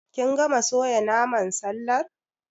Kin gama soya naman sallar?